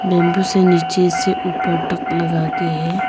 Bamboo से नीचे से ऊपर तक लगा के है।